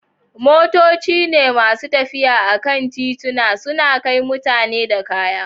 Motoci ne masu tafiya a kan tituna, suna kai mutane da kaya.